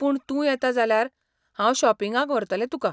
पूण तूं येता जाल्यार, हांव शॉपिंगाक व्हरतलें तुका.